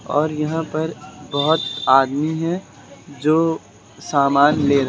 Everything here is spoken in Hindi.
और यहां पर बहोत आदमी हैं जो सामान ले--